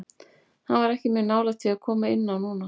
Hann var ekki mjög nálægt því að koma inn á núna.